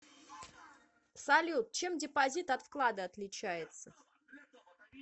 салют чем депозит от вклада отличается